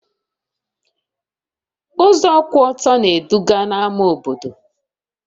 Ụzọ kwụ ọtọ na-eduga na ama obodo